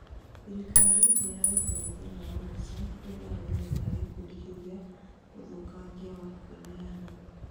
thirikari nĩrarutire mũthenya wa mũico kũrĩ arũmĩrĩri a gikundi kĩu gĩa ũthũkangia wa kwĩneana